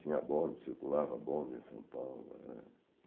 Tinha bonde, circulava bonde em São Paulo. Eh